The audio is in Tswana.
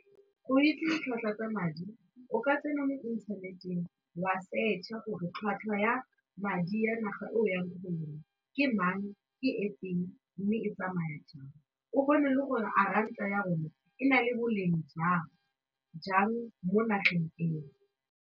Go itse ditlhwatlhwa tsa madi o ka tsena mo inthaneteng wa search-a gore tlhwatlhwa ya madi ya naga o yang ko go yone ke mang, ke efeng mme e tsamaya jang, o bone le gore a ranta ya rona e na le boleng jang jang mo nageng eo.